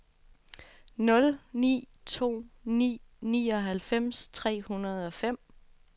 nul ni to ni nioghalvfems tre hundrede og fem